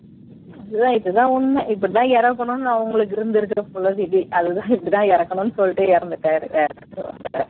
இதுதான் இதுதான் உண்மை இப்படித்தான் இருக்கணும்னு அவங்களுக்கு இருந்திருக்கு போல விதி அதுதான் இப்படித்தான் இருக்கணும்னு சொல்லிட்டு இறந்துட்டார் வேற